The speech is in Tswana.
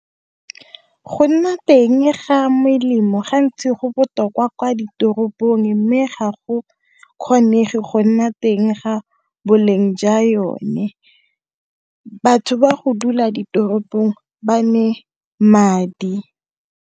Go nna teng ga melemo gantsi go botoka kwa ditoropong, mme ga go kgonege go nna teng ga boleng jwa yone. Batho ba go dula ditoropong ba madi.